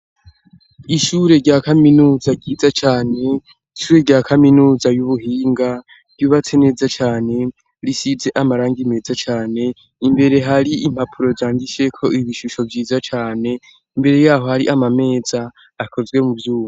Ishure rya kaminuza ryiza cane, ishure rya kaminuza y'ubuhinga ryubatse neza cane risize amaranga imeza cane imbere hari impapuro zangisheko ibishusho vyiza cane imbere yaho hari amameza akozwe mu vyuba.